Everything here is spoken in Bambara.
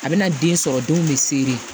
A bɛna den sɔrɔ denw bɛ sere